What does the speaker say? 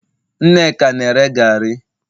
Nneka na- ere gari